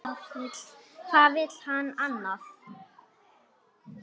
Hvað vill hann annað?